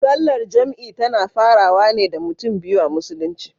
Sallar jam'i tana farawa wane da mutum biyu a musulunci.